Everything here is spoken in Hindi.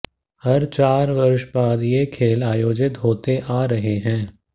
हर चार वर्ष बाद ये खेल आयोजित होते आ रहे हैं